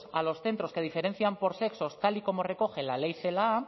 a los centros de diferencian por sexos tal y como recoge la ley celaá